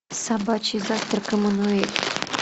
собачий завтрак эммануэль